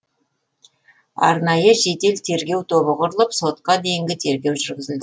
арнайы жедел тергеу тобы құрылып сотқа дейінгі тергеу жүргізілді